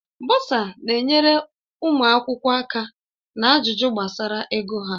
Bọsa na-enyere ụmụ akwụkwọ aka na ajụjụ gbasara ego ha.